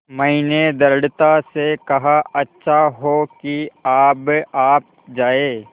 मैंने दृढ़ता से कहा अच्छा हो कि अब आप जाएँ